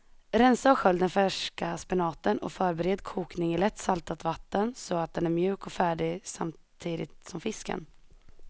Rensa och skölj den färska spenaten och förbered kokning i lätt saltat vatten så att den är mjuk och färdig samtidigt som fisken.